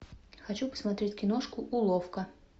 хочу посмотреть киношку уловка